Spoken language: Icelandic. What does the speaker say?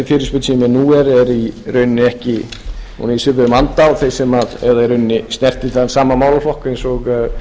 nú er er í rauninni ekki hún er í svipuðum anda eða í rauninni snertir þann sama málaflokk og